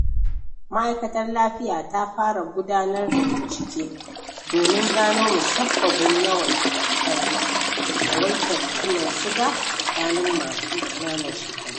Ma’aikatar Lafiya ta fara gudanar da bincike domin gano musabbabin yawaitar ciwon siga a tsakani masu ƙananan shekaru.